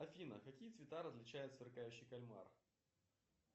афина какие цвета различает сверкающий кальмар